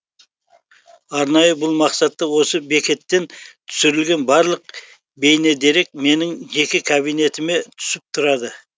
арнайы бұл мақсатта осы бекеттен түсірілген барлық бейнедерек менің жеке кабинетіме түсіп тұрады